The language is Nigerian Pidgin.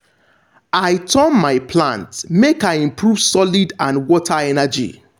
i turn my plants make i improve soild and water energy.